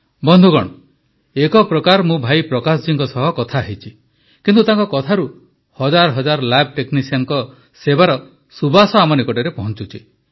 ବନ୍ଧୁଗଣ ଏକ ପ୍ରକାର ମୁଁ ଭାଇ ପ୍ରକାଶ ଜୀଙ୍କ ସହ କଥା ହେଇଛି କିନ୍ତୁ ତାଙ୍କ କଥାରୁ ହଜାର ହଜାର ଲ୍ୟାବ୍ ଟେକ୍ନିସିଆନଙ୍କ ସେବାର ସୁବାସ ଆମ ନିକଟରେ ପହଞ୍ଚୁଛି